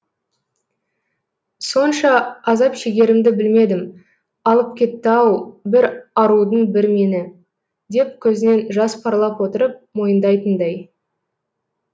сонша азап шегерімді білмедім алып кетті ау бір арудың бір меңі деп көзінен жас парлап отырып мойындайтындай